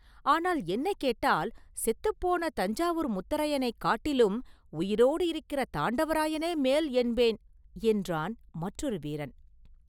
ஆனால், என்னைக் கேட்டால், செத்துப் போன தஞ்சாவூர் முத்தரையனைக் காட்டிலும் உயிரோடு இருக்கிற தாண்டவராயனே மேல் என்பேன்!” என்றான் மற்றொரு வீரன்.